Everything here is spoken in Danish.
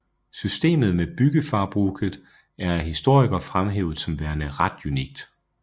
Systemet med bygdefarbruket er af historikere fremhævet som værende ret unikt